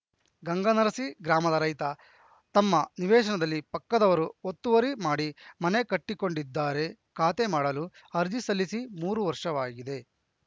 ಗಂಗನರಸಿ ಗ್ರಾಮದ ರೈತ ತಮ್ಮ ನಿವೇಶನದಲ್ಲಿ ಪಕ್ಕದವರು ಒತ್ತುವರಿ ಮಾಡಿ ಮನೆ ಕಟ್ಟಿಕೊಂಡಿದ್ದಾರೆ ಖಾತೆ ಮಾಡಲು ಅರ್ಜಿ ಸಲ್ಲಿಸಿ ಮೂರು ವರ್ಷವಾಗಿದೆ